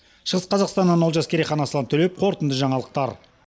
шығыс қазақстаннан олжас керейхан аслан төлеп қорытынды жаңалықтар